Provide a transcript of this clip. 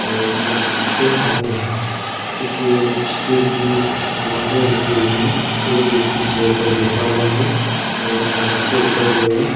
और शॉप के आगे कुछ स्टील की अलमारियाँ रखी हुई हैं एक व्यक्ती चेयर पर बैठा हुआ है और शॉप के ऊपर जो है।